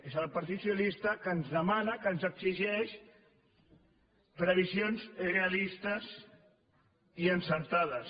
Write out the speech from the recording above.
és el partit socialista que ens demana que ens exigeix previsions realistes i encertades